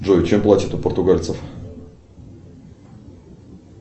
джой чем платят у португальцев